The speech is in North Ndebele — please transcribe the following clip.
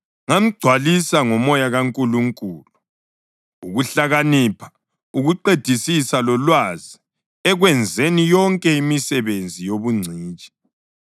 ngamgcwalisa ngomoya kaNkulunkulu, ukuhlakanipha, ukuqedisisa lolwazi ekwenzeni yonke imisebenzi yobungcitshi